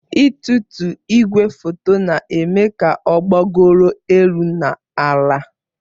Ịtụtu igwefoto na-eme ka ọ gbagoro elu na ala.